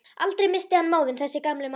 Aldrei missti hann móðinn þessi gamli maður.